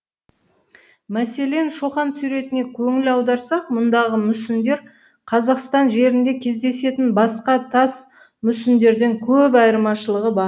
мәселен шоқан суретіне көңіл аударсақ мұндағы мүсіндер қазақстан жерінде кездесетін басқа тас мүсіндерден көп айырмашылығы бар